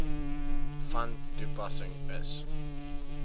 van toepassing is